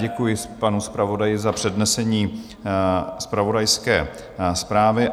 Děkuji panu zpravodaji za přednesení zpravodajské zprávy.